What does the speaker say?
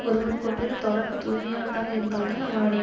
ஒருவன் கொண்டுள்ள தொடர்பு தூய்மையானதாக இருந்தால்தான் அவனுடைய